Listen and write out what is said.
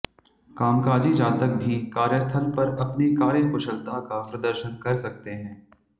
कामकाजी जातक भी कार्यस्थल पर अपनी कार्यकुशलता का प्रदर्शन कर सकते हैं